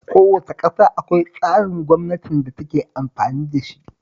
Kowace ƙasa akwai tsarin gwamnatin da take amfani da shi